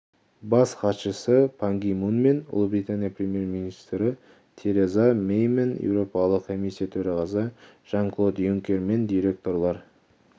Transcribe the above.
бас хатшысы пан ги мунмен ұлыбритания премьер-министрі тереза мэймен еуропалық комиссия төрағасы жан-клод юнкермен директорлар